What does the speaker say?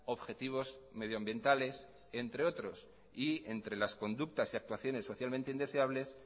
objetivos medioambientales entre otros y entre las conductas y actuaciones socialmente indeseables